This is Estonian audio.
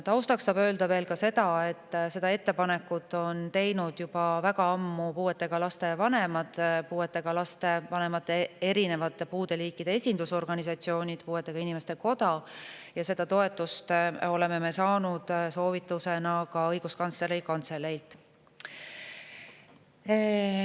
Taustaks saab öelda veel seda, et selle ettepaneku on teinud juba väga ammu puuetega laste vanemad, eri liiki puudega laste vanemate esindusorganisatsioonid, puuetega inimeste koda ning soovituses oleme toetust saanud ka Õiguskantsleri Kantseleilt.